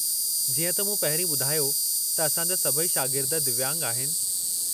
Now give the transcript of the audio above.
जीअं त मूं पहिरीं ॿुधायो त असां जा सभई शागिर्द दिव्यांग आहिनि।